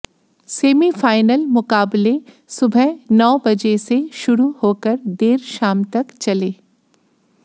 semifinal मुकाबले सुबह नौ बजे से शुरू होकर देर शाम तक चले